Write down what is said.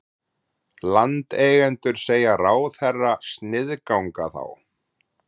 Landeigendur segja ráðherra sniðganga þá